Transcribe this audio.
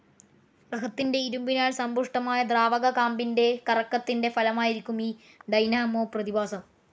ഗ്രഹത്തിന്റെ ഇരുമ്പിനാൽ സമ്പുഷ്ടമായ ദ്രാവക കാമ്പിന്റെ കറക്കത്തിന്റെ ഫലമായിരിക്കും ഈ ഡൈനാമോ പ്രതിഭാസം.